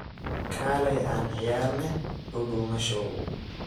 Kaley aan ciyarne dudumashow.